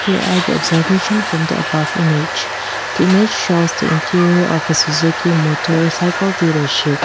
here are the observation from the above image the image shows the interior of a suzuki motorcycle dealership.